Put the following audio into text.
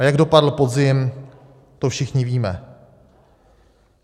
A jak dopadl podzim, to všichni víme.